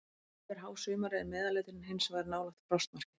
Yfir hásumarið er meðalhitinn hins vegar nálægt frostmarki.